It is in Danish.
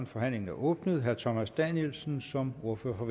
forhandlingen er åbnet herre thomas danielsen som ordfører for